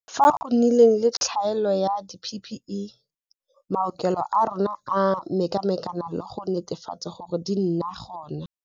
Fao go nnileng le tlhaelo ya di-PPE, maokelo a rona a mekamekane le go netefatsa gore di nna gona.